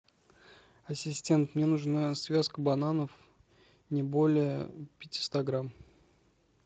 ассистент мне нужна связка бананов не более пятиста грамм